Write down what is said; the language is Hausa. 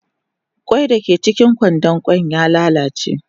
Kwai dake cikin kwandon kwan ya lalace.